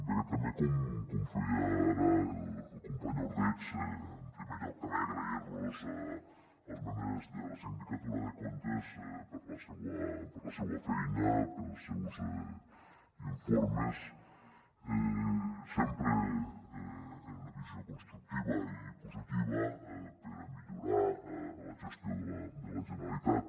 bé també com feia ara el company ordeig en primer lloc també agrair los als membres de la sindicatura de comptes la seua feina els seus informes sempre amb una visió constructiva i positiva per a millorar la gestió de la generalitat